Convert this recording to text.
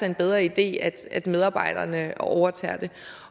en bedre idé at medarbejderne overtager den